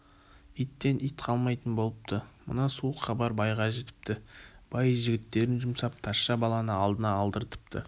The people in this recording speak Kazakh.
иттен ит қалмайтын болыпты мына суық хабар байға жетіпті бай жігіттерін жұмсап тазша баланы алдына алдырыпты